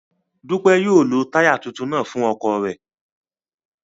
Dupe yóò lo taya tuntun naa fun ọkọ rẹ